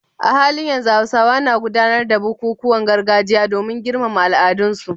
A halin yanzu Hausawa na gudanar da bukukuwan gargajiya domin girmama al'adunsu